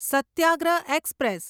Satyagraha express